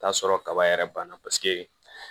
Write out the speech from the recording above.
T'a sɔrɔ kaba yɛrɛ banna paseke